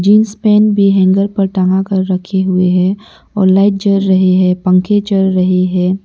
Jeans pant भी hanger पर टंगा कर रखे हुए हैं और लाइट जवल रही है पंखे चल रहे हैं।